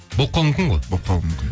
болып қалуы мүмкін ғой болып қалуы мүмкін